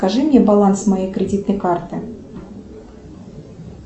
скажи мне баланс моей кредитной карты